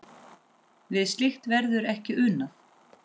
Við slíkt verður ekki unað.